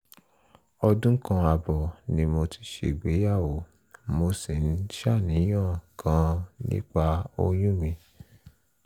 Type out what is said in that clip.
ọdún kan ààbọ̀ ni mo ti ṣègbéyàwó mo sì ń ṣàníyàn gan-an nípa oyún mi